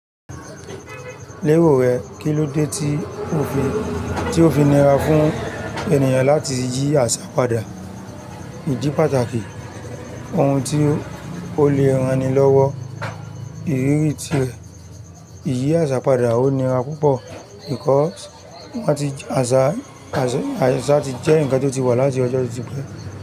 Lérò rẹ, kí ló dé tí ó fi níra fún ènìyàn láti yí àṣà padà? Ìdí pàtàkì ohun tí ó le rán ni lọ́wọ́ ìrírí tirẹ̀ ìyí àṣà padà ó níra púpọ̀ nítorí wọ́n ti àṣà ti jẹ́ ǹkan tó ti wà láti ọjọ́ to ti pẹ́.